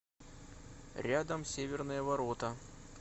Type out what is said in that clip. рядом северные ворота